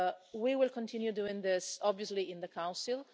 We will continue doing this, obviously, in the Council.